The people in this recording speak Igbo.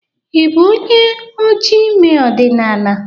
Ị bụ onye oji ime ọdịnala?